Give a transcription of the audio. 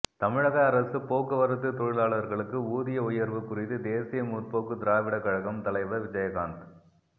தமிழக அரசு போக்குவரத்து தொழிலாளர்களுக்கு ஊதிய உயர்வு குறித்து தேசிய முற்போக்கு திராவிட கழகம் தலைவர் விஜயகாந்த்